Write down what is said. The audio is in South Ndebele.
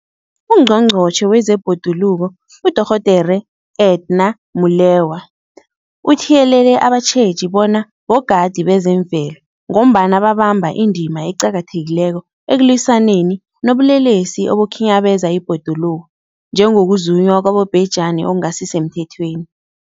UNgqongqotjhe wezeBhoduluko uDorh Edna Molewa uthiyelele abatjheji bona bogadi bezemvelo, ngombana babamba indima eqakathekileko ekulwisaneni nobulelesi obukhinyabeza ibhoduluko, njengokuzunywa kwabobhejani okungasisemthethweni.